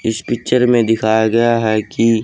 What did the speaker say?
इस पिक्चर में दिखाया गया है कि--